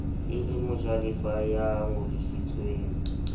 e le mojalefa ya ngodisitsweng